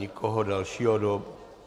Nikoho dalšího do...